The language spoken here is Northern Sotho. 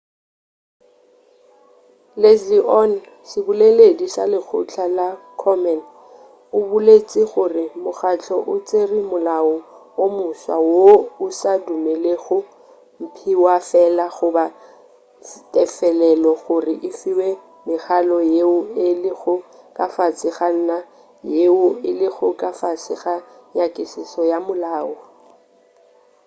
leslie aun seboleleldi sa lekgotla la komen o boletše gore mokgahlo o tšere molao o moswa woo o sa dumelelego mphiwafela goba tefelelo gore e fiwe mekhalo yeo e lego ka fase ga ona yeo e lego ka fase ga nyakišišo ya molao